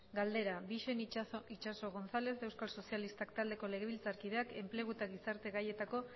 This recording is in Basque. bixen itxaso gonzález euskal sozialistak taldeko legebiltzarkideak enplegu eta gizarte gaietako